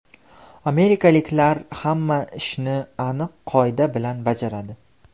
Amerikaliklar hamma ishni aniq qoida bilan bajaradi.